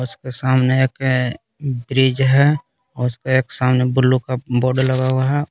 उसके सामने एक ब्रिज है उसका एक सामने ब्लू का बोर्ड लगा हुआ है।